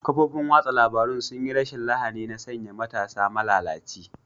Kafofin watsa labarun sun yi rashin lahani na sanya matasa malalaci.